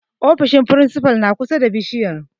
Ofishin firinsifa na kusa da bishiyar.